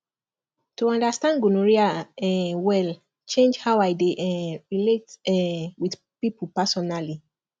to understand gonorrhea um well change how i dey um relate um with people personally